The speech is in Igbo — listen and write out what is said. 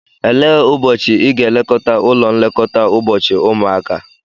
Elee ụbọchị ị ga-eleta ụlọ nlekọta ụbọchị ụmụaka?